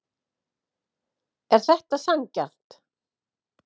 Er þetta sanngjarnt?